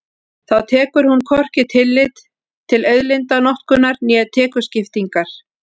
Þá tekur hún hvorki tillit til auðlindanotkunar né tekjuskiptingar.